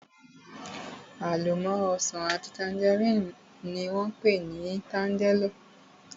Àlọ́mọ́ ọsàn àti tangerine ni wón pé ni tangerlo